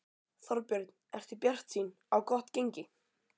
Þorbjörn: Ertu bjartsýn á gott gengi?